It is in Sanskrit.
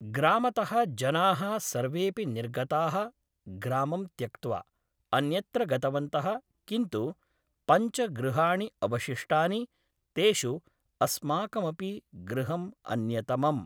ग्रामतः जनाः सर्वेऽपि निर्गताः ग्रामं त्यक्त्वा अन्यत्र गतवन्तः किन्तु पञ्च गृहाणि अवशिष्टानि तेषु अस्माकमपि गृहं अन्यतमम्